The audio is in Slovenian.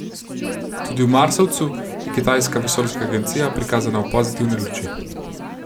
Tudi v Marsovcu je kitajska vesoljska agencija prikazana v pozitivni luči.